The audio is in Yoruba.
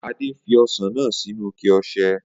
Ade fi ọsẹ náà sì inú ìké ọsẹ